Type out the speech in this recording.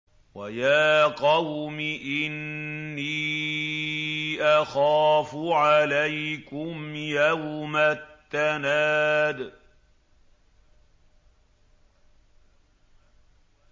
وَيَا قَوْمِ إِنِّي أَخَافُ عَلَيْكُمْ يَوْمَ التَّنَادِ